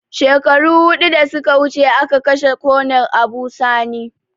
Shekaru hudu da suka wuce a ka kashe konel Abu sani